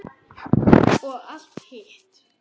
Og allt hitt.